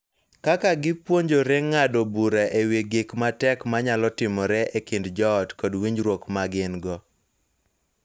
Kaka gipuonjore ng�ado bura e wi gik ma tek ma nyalo timore e kind joot kod winjruok ma gin-go.